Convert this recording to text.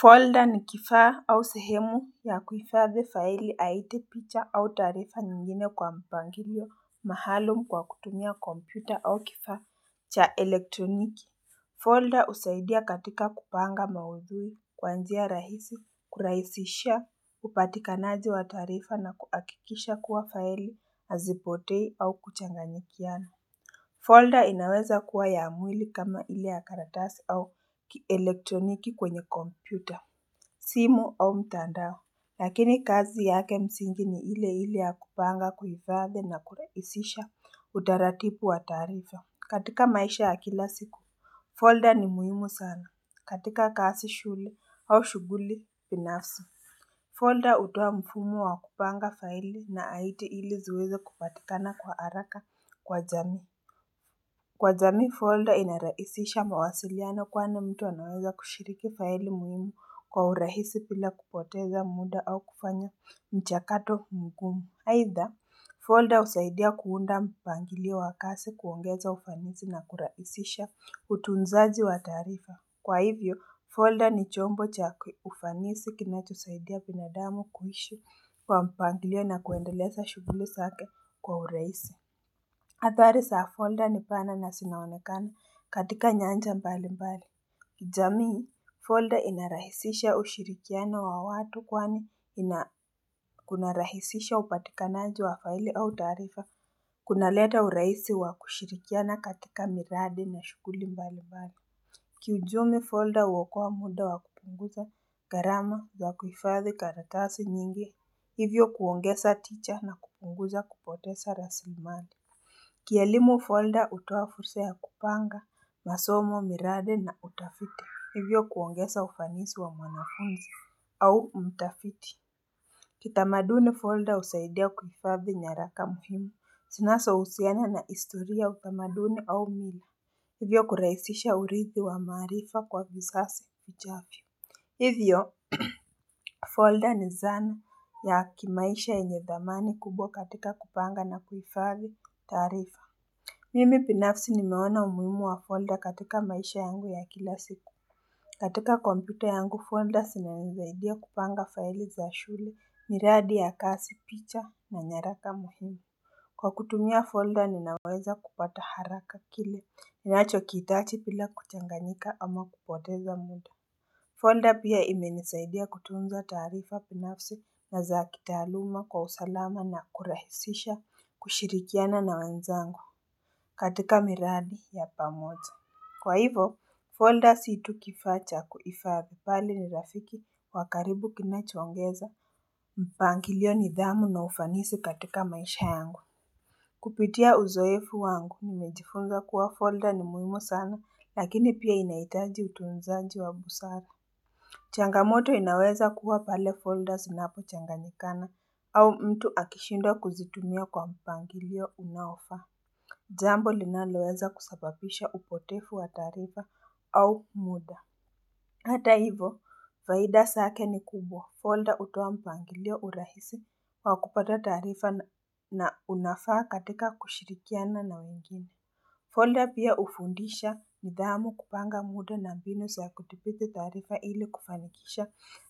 Folder ni kifaa au sehemu ya kuhifadhi faili au picha au taarifa nyingine kwa mpangilio maalumu kwa kutumia kompyuta au kifaa cha elektroniki. Folder husaidia katika kupanga maudhui kuanzia rahisi, kurahisisha, upatikanaji wa taarifa na kuhakikisha kuwa faili hazipotei au kuchanganyikiana. Folder inaweza kuwa ya mwili kama ile yakaratasi au elektroniki kwenye kompyuta. Simu au mtandao Lakini kazi yake msingi ni ile ile yakupanga kuhifadhi na kurahisiha utaratibu wa taarifa katika maisha ya kila siku Folder ni muhimu sana katika kazi shule au shughuli binafsi Folder hutoa mfumo wa kupanga faili na haiti ili ziweze kupatikana kwa haraka kwa jamii Kwa jamii folder inarahisisha mawasiliano kwani mtu anaweza kushiriki faili muhimu kwa urahisi pila kupoteza muda au kufanya mchakato mkumu. Aidha ha, folder husaidia kuunda mpangilio wakazi kuongeza ufanisi na kurahisisha utunzaji wa tarifa. Kwa hivyo, folder ni chombo cha ufanisi kinatusaidia binadamu kuishi kwa mpangilio na kuendeleza shughuli zake kwa urahisi. Athari zaa folder ni pana na zinaonekana katika nyanja mbali mbali. Kijamii, folder inarahisisha ushirikiano wa watu kwani inakunarahisisha upatikanaji wa faili au taarifa. Kunleta uraisi wa kushirikiana katika miradi na shukuli mbali mbali. Kiujumla folder huwakoa muda wa kupunguza gharama ya kuhifadhi karatasi nyingi. Hivyo kuongeza teacher na kupunguza kupoteza rasilimani. Kielimu folder utua fursa ya kupanga, masomo, miradi na utafiti Hivyo kuongeza ufanisi wa mwanafunzi au mtafiti. Kitamaduni folder husaidia kuhifaadhi nyaraka muhimu. Zinazohusiana na ihistoria utamaduni au mila. Hivyo kurahisisha urithi wa maarifa kwa vizazi vijavyo. Hivyo folder ni zan.ya kimaisha yanye dhamani kubwa katika kupanga na kuhifaadhi tarifa. Mimi binafsi nimeona umhimu wa folder katika maisha yangu ya kila siku katika kompyuta yangu, folder zinanisaidia kupanga faili za shule, miradi ya kazi, picha na nyaraka muhimu Kwa kutumia folder ninaweza kupata haraka kile, ninacho kithitaji bila kuchanganika ama kupoteza muda Folder pia imenisaidia kutunza taarifa binafsi na zaakitaluma kwa usalama na kurahisisha kushirikiana na wezangu katika miradi ya pamoza. Kwa hivo, folders si tu kifaa cha kuhifadhi bali ni rafiki wakaribu kinachongeza. Mpangilio nidhamu na ufanisi katika maisha yangu. Kupitia uzoefu wangu mimejifunza kuwa folder ni muhimu sana lakini pia inahitaji utunzaji wa busara. Changamoto inaweza kuwa pale folders unapo changanikana au mtu akishinda kuzitumia kwa mpangilio unaofaa. Jambo linalowelza kusababisha upotefu wa taarifa au muda. Hata hivo, faida zake ni kubwa. Folder hutoa mpangilio urahisi wa kupata taarifa na unafaa katika kushirikiana na mwingine. Folda pia hufundisha nidhamu kupanga muda na mbi nu za kuthibitii taarifa ili kufanikisha